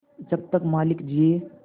जब तक मालिक जिये